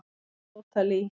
Hver er Tóta Lee?